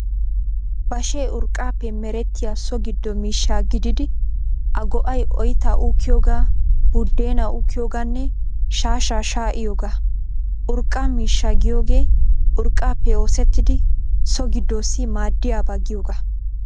Bashee urqqaappe merettiyaa so giddo miishsha gididi a go'ay oyttaa uukkiyoogaa, buddeenaa uukkiyoogaanne shaashshaa shaa'iyoogaa. Urqqa miishshaa giyoogee urqqaappe oosettidi so giddossi maaddiyaaba giyoogaa.